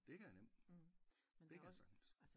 Det kan jeg nemt det kan jeg sagtens